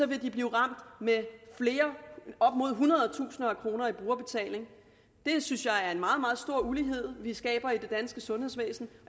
vil de blive ramt med op mod hundrede tusinder af kroner i brugerbetaling det synes jeg er en meget meget stor ulighed vi skaber i det danske sundhedsvæsen